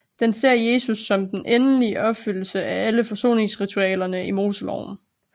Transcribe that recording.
Den ser Jesus som den endelige opfyldelse af alle forsoningsritualerne i Moseloven